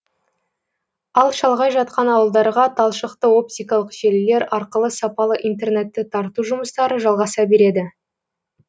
ал шалғай жатқан ауылдарға талшықты оптикалық желілер арқылы сапалы интернетті тарту жұмыстары жалғаса береді